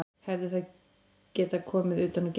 Hefði það getað komið utan úr geimnum?